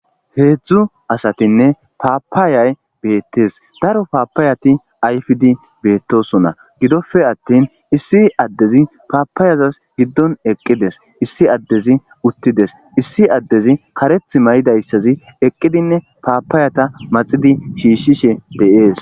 Heedzdzu asatinne paapaayay beettees daro paapaayati ayfdi beettosona gidoppe attin issi addezi paapaayazas giddon eqqides issi addezi uttides issi addezi kareth may'idayssazi eqqidinne paapaayata maxidi shiishishe deees.